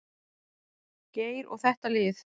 Geir og þetta lið.